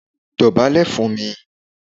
Dọ̀bálẹ̀ fún mi!